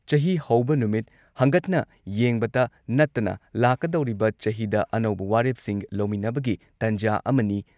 ꯆꯍꯤ ꯍꯧꯕ ꯅꯨꯃꯤꯠ, ꯍꯟꯒꯠꯅ ꯌꯦꯡꯕꯇ ꯅꯠꯇꯅ ꯂꯥꯛꯀꯗꯧꯔꯤꯕ ꯆꯍꯤꯗ ꯑꯅꯧꯕ ꯋꯥꯔꯦꯞꯁꯤꯡ ꯂꯧꯃꯤꯟꯅꯕꯒꯤ ꯇꯟꯖꯥ ꯑꯃꯅꯤ ꯫